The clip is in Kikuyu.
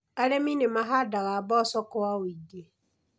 Arĩmi nĩ mahandaga mboco kwa ũingĩ.